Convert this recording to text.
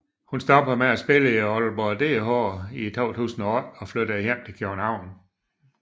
Hun stoppede med at spille i Aalborg DH i 2008 og flyttede hjem til København